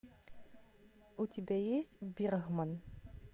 у тебя есть бергман